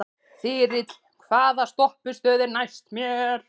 Þyrill, hvaða stoppistöð er næst mér?